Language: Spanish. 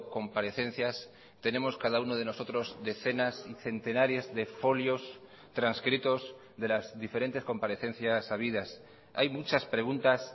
comparecencias tenemos cada uno de nosotros decenas y centenares de folios transcritos de las diferentes comparecencias habidas hay muchas preguntas